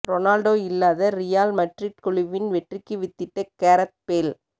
Ronaldo இல்லாத Real Madrid குழுவின் வெற்றிக்கு வித்திட்ட கேரத் பேல்